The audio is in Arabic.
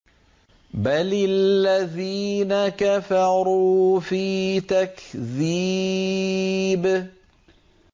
بَلِ الَّذِينَ كَفَرُوا فِي تَكْذِيبٍ